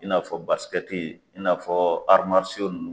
I n'a fɔ in n'a fɔ nunnu.